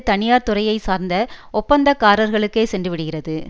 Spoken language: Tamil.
தனியார்துறையைச் சார்ந்த ஒப்பந்தக்காரர்களுக்கே சென்றுவிடுகிறது